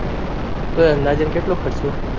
તો અંદાજેન કેટલો ખર્ચો